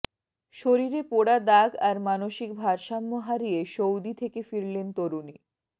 শরীরে পোড়া দাগ আর মানসিক ভারসাম্য হারিয়ে সৌদি থেকে ফিরলেন তরুণী